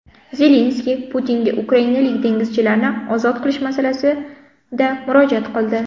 Zelenskiy Putinga ukrainalik dengizchilarni ozod qilish masalasida murojaat qildi.